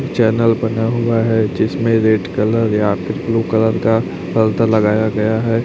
Channel बना हुआ है जिसमें रेड कलर या फिर ब्लू कलर का लगाया गया है।